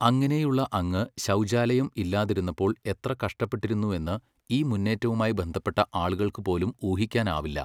അങ്ങനെയുള്ള അങ്ങ് ശൗചാലയം ഇല്ലാതിരുന്നപ്പോൾ എത്ര കഷ്ടപ്പെട്ടിരുന്നുവെന്ന് ഈ മുന്നേറ്റവുമായി ബന്ധപ്പെട്ട ആളുകൾക്ക് പോലും ഊഹിക്കാനാവില്ല.